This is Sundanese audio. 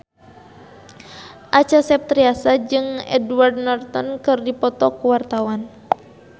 Acha Septriasa jeung Edward Norton keur dipoto ku wartawan